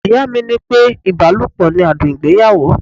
Ìyá mi ní pé ibalopo ni adùn ìgbéyàwó.